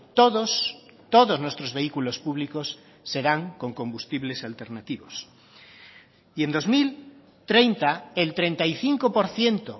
todos todos nuestros vehículos públicos serán con combustibles alternativos y en dos mil treinta el treinta y cinco por ciento